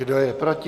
Kdo je proti?